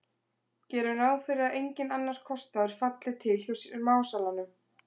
Gerum ráð fyrir að enginn annar kostnaður falli til hjá smásalanum.